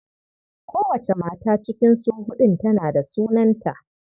Kowace mata cikin su huɗun tana da sunanta.